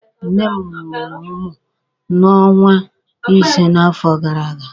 Nne m mụrụ mụ n'ọnwa ise n'afọ gara aga.